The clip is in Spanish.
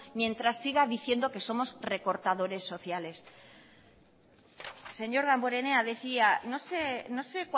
mientras siga diciendo que somos recortadores sociales señor damborenea decía no sé